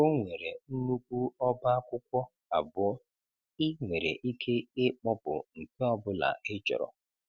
Ọ nwere nnukwu ọba akwụkwọ abụọ, ị nwere ike ịkpọpụ nke ọ bụla ịchọrọ.